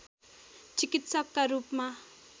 चिकित्सकका रूपमा